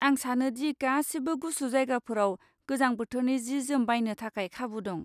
आं सानो दि गासिबो गुसु जायगाफोराव गोजां बोथोरनि जि जोम बायनो थाखाय खाबु दं।